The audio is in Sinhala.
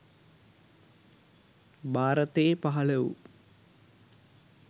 භාරතයේ පහළ වූ